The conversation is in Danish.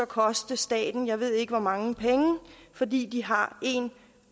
koste staten jeg ved ikke hvor mange penge fordi de har en